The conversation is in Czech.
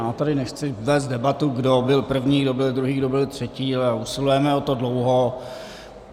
Já tady nechci vést debatu, kdo byl první, kdo byl druhý, kdo byl třetí, ale usilujeme o to dlouho.